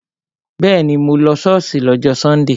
Bẹ́ẹ̀ni, mo lọ ṣọ́ọ̀ṣì lọ́jọ́ sọ́ndè